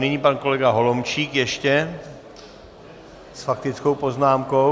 Nyní pan kolega Holomčík ještě s faktickou poznámkou.